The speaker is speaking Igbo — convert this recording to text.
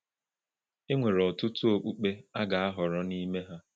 Enwere ọtụtụ okpukpe a ga-ahọrọ n’ime ha.